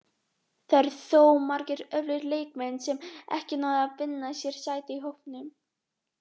Það eru þó margir öflugir leikmenn sem ekki náðu að vinna sér sæti í hópnum.